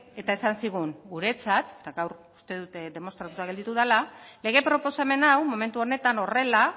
eta esan zigun guretzat eta gaur uste demostratuta gelditu dela lege proposamena hau momentu honetan horrela